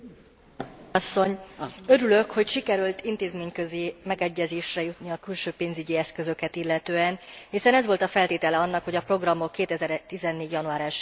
Örülök, hogy sikerült intézményközi megegyezésre jutni a külső pénzügyi eszközöket illetően, hiszen ez volt a feltétele annak, hogy a programok 2014. január 1 jével tovább folytatódjanak.